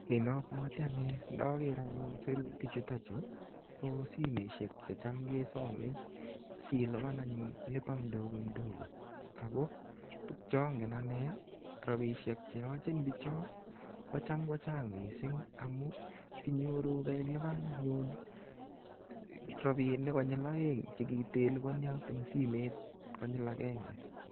Kit ne obwote ane indoker ayu sirutik chu ko simoishek che cham kesome silipan anyun lipa mdogo mdogo che ongen anee, rabishek che yochin bichon kocham kochang mising amun inyoru keilpan anyun rabinik konyil oeng che kiteliponi en simet konyil agenge.